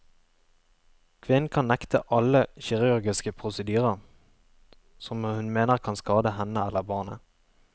Kvinnen kan nekte alle kirurgiske prosedyrer som hun mener kan skade henne eller barnet.